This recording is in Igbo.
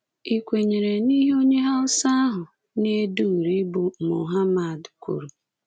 Ị̀kwenyere n'ihe onye Hausa ahụ na-ede uri bụ́ Mohammad kwuru?